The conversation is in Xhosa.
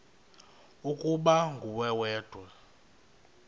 ukuba nguwe wedwa